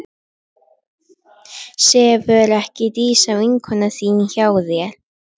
Sefur ekki Dísa, vinkona þín, hjá þér?